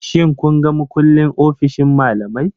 Shin kun ga mukullin ofishin malamai?